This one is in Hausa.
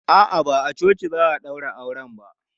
A'a, ba a coci za a ɗaura auren ba.